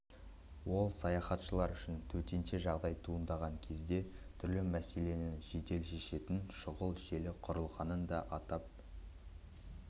ол саяхатшылар үшін төтенше жағдай туындаған кезде түрлі мәселені жедел шешетін шұғыл желі құрылғанын да атап